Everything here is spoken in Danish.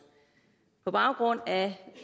på baggrund af